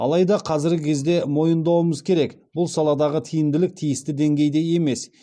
алайда қазіргі кезде мойындауымыз керек бұл саладағы тиімділік тиісті деңгейде емес